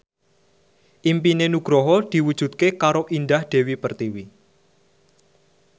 impine Nugroho diwujudke karo Indah Dewi Pertiwi